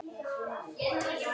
Verið á verði.